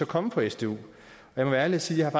komme fra sdu jeg må være ærlig og sige at